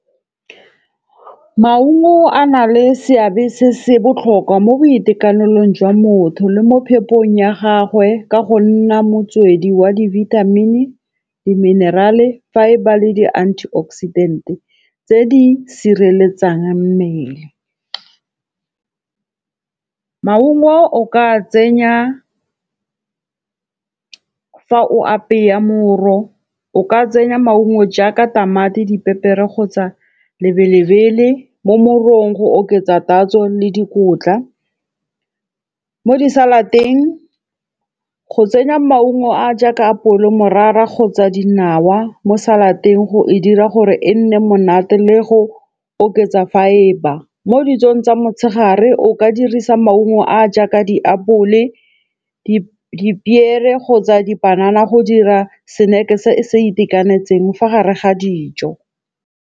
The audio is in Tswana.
Maungo a na le seabe se se botlhokwa mo boitekanelong jwa motho le mo phepong ya gagwe ka go nna motswedi wa di-vitamin, di-mineral, fibre le di-antioxidant tse di sireletsang mmele. Maungo o ka a tsenya fa o apeya moro, o ka tsenya maungo jaaka ditamati, dipepere kgotsa lebelele mo morong go oketsa tatso le dikotla. Mo di-salad-eng go tsenya maungo a a jaaka apole, morara kgotsa dinawa mo salad-eng go e dira gore e nne monate le go oketsa fibre. Mo dijong tsa motshegare o ka dirisa maungo a a jaaka diapole, dipiere kgotsa dipanana go dira snack-e se se itekanetseng fa gare ga dijo.